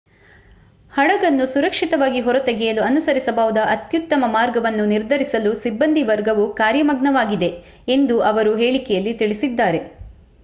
ಹಡಗನ್ನು ಸುರಕ್ಷಿತವಾಗಿ ಹೊರತೆಗೆಯಲು ಅನುಸರಿಸಬಹುದಾದ ಅತ್ಯುತ್ತಮ ಮಾರ್ಗವನ್ನು ನಿರ್ಧರಿಸಲು ಸಿಬ್ಬಂದಿವರ್ಗವು ಕಾರ್ಯಮಗ್ನವಾಗಿದೆ ಎಂದು ಅವರು ಹೇಳಿಕೆಯಲ್ಲಿ ತಿಳಿಸಿದ್ದಾರೆ